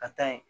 Ka taa yen